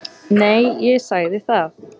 Nei, ég sagði það.